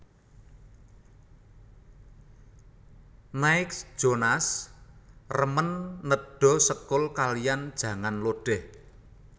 Nick Jonas remen nedha sekul kaliyan jangan lodeh